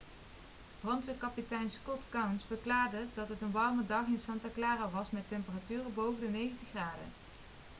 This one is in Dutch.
brandweerkapitein scott kouns verklaarde dat het een warme dag in santa clara was met temperaturen boven de 90 graden